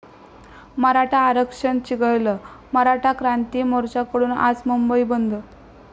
मराठा आरक्षण चिघळलं, मराठा क्रांती मोर्चाकडून आज मुंबई बंद